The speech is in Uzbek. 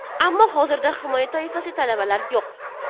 Ammo hozirda himoya toifasiga talablar yo‘q.